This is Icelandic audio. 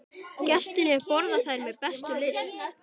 Gestirnir borða þær með bestu lyst.